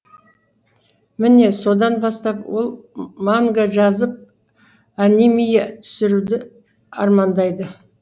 міне содан бастап ол манга жазып анимия түсіруді армандайды